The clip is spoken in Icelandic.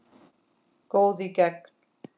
Góð í gegn.